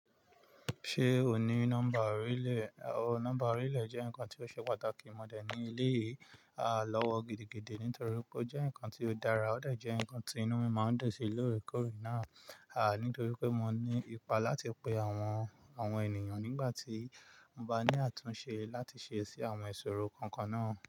Ṣé o ní nọ́mbà orí lè? Nọ́mbà orí lè jẹ́ nǹkan tí ó ṣe pàtàkì mọ̀ dẹ̀ ní eléyì. À lọ́wọ́ gidigidi nítorí pé ó jẹ́ nǹkan tí ó dára, ó dà jẹ́ nǹkan tí inú mi máa ń dùn sí lóòrèkóòrè náà, nítorí pé mo ní ipa láti pe àwọn ènìyàn nígbà tí mo bá ní àtúnṣe láti ṣe sí àwọn ìṣòro kankan náà.